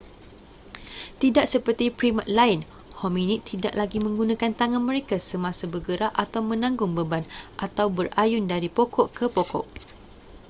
tidak seperti primat lain hominid tidak lagi menggunakan tangan mereka semasa bergerak atau menanggung beban atau berayun dari pokok ke pokok